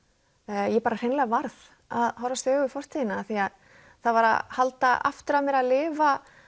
ég bara hreinlega varð að horfast í augu við fortíðina af því að það var að halda aftur af mér að lifa